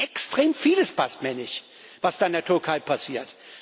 Extrem vieles passt mir nicht, was da in der Türkei passiert.